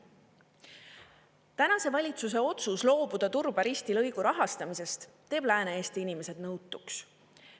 Tänase valitsuse otsus loobuda Turba–Risti lõigu rahastamisest teeb Lääne-Eesti inimesed nõutuks.